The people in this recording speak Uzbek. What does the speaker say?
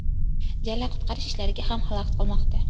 Jala qutqarish ishlariga ham xalaqit qilmoqda.